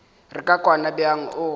re ka kwana bjang o